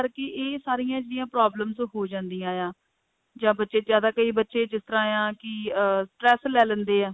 ਕਰਕੇ ਇਹ ਸਾਰੀਆਂ ਜਿਹੜੀਆਂ problems ਹੋ ਜਾਂਦੀਆਂ ਆ ਜਾਂ ਬੱਚੇ ਜਿਆਦਾ ਕਈ ਬੱਚੇ ਜਿਸ ਤਰ੍ਹਾਂ ਹੈ ਕਿ ਅਹ stress ਲੈ ਲੈਂਦੇ ਆ